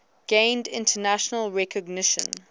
gained international recognition